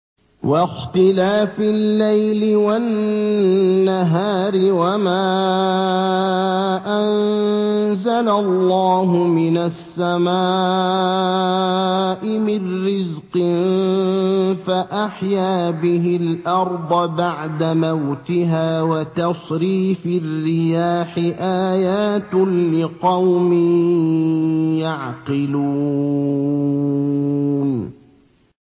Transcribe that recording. وَاخْتِلَافِ اللَّيْلِ وَالنَّهَارِ وَمَا أَنزَلَ اللَّهُ مِنَ السَّمَاءِ مِن رِّزْقٍ فَأَحْيَا بِهِ الْأَرْضَ بَعْدَ مَوْتِهَا وَتَصْرِيفِ الرِّيَاحِ آيَاتٌ لِّقَوْمٍ يَعْقِلُونَ